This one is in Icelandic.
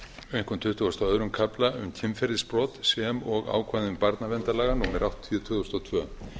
einkum tuttugasta og öðrum kafla um kynferðisbrot sem og ákvæðum barnaverndarlaga númer áttatíu tvö þúsund og tvö